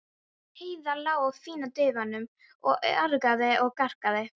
Heiða lá á fína dívaninum og argaði og gargaði.